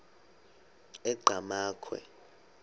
enqgamakhwe